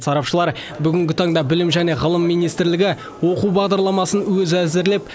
сарапшылар бүгінгі таңда білім және ғылым министрлігі оқу бағдарламасын өзі әзірлеп